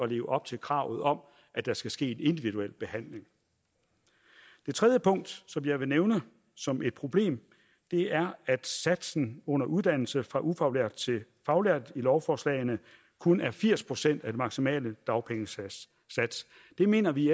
leve op til kravet om at der skal ske en individuel behandling det tredje punkt som jeg vil nævne som et problem er at satsen under uddannelse fra ufaglært til faglært i lovforslagene kun er firs procent af den maksimale dagpengesats det mener vi